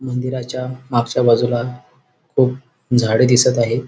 मंदिराच्या मागच्या बाजूला खूप झाडे दिसत आहेत.